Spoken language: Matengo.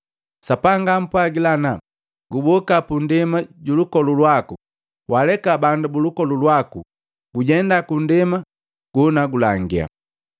Sapanga ampwagila ana, ‘Guboka pandema julukolu waku, waaleka bandu bulukolu lwaku gujenda ku ndema jenagulangia.’